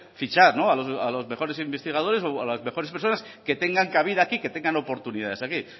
fichar a los mejores investigadores o a las mejores personas que tengan cabida aquí que tengan oportunidades aquí